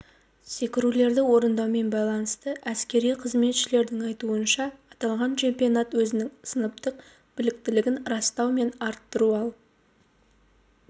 секірулерді орындаумен байланысты әскери қызметшілердің айтуынша аталған чемпионат өзінің сыныптық біліктілігін растау мен арттыру ал